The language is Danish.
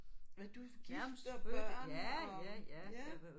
Er du gift og børn og ja